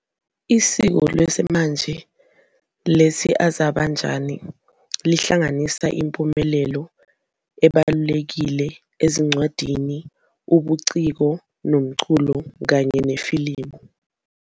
Isiko lesimanje lesi-Azerbaijani lihlanganisa impumelelo ebalulekile ezincwadini, ubuciko, umculo, kanye nefilimu.